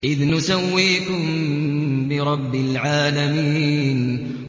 إِذْ نُسَوِّيكُم بِرَبِّ الْعَالَمِينَ